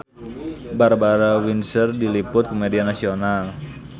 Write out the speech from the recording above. Barbara Windsor diliput ku media nasional